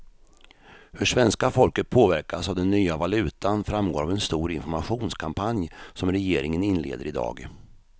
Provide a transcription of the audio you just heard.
Hur svenska folket påverkas av den nya valutan framgår av en stor informationskampanj som regeringen inleder i dag.